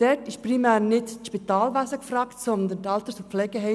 Dort ist primär nicht das Spitalwesen gefragt, sondern die Alters- und Pflegeheime.